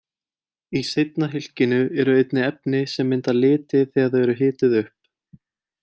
Í seinna hylkinu eru einnig efni sem mynda liti þegar þau eru hituð upp.